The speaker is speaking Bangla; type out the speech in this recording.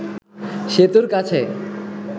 সেতুর কাছে